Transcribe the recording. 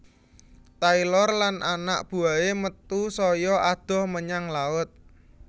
Taylor lan anak buwahé metu saya adoh menyang laut